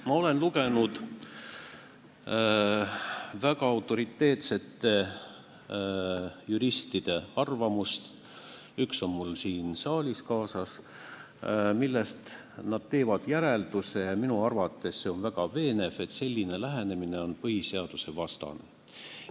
Ma olen lugenud väga autoriteetsete juristide arvamusi – üks on mul siin saalis ka kaasas –, milles nad teevad järelduse, ja minu arvates see on väga veenev järeldus, et selline lähenemine on põhiseadusvastane.